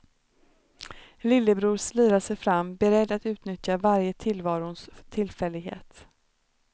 Lillebror slirar sig fram beredd att utnyttja varje tillvarons tillfällighet.